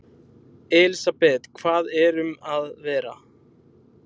Elísabet, hvað erum að vera?